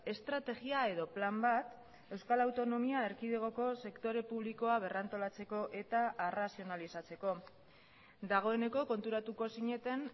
estrategia edo plan bat euskal autonomia erkidegoko sektore publikoa berrantolatzeko eta arrazionalizatzeko dagoeneko konturatuko zineten